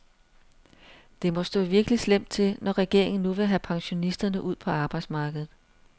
Det må stå virkelig slemt til, når regeringen nu vil have pensionisterne ud på arbejdsmarkedet.